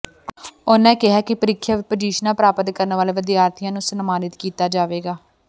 ਉਨ੍ਹਾਂ ਕਿਹਾ ਕਿ ਪ੍ਰੀਖਿਆ ਵਿਚ ਪੁਜ਼ੀਸ਼ਨਾਂ ਪ੍ਰਾਪਤ ਕਰਨ ਵਾਲੇ ਵਿਦਿਆਰਥੀਆਂ ਨੂੰ ਸਨਮਾਨਤ ਕੀਤਾ ਜਾਵੇਗਾ